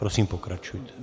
Prosím, pokračujte.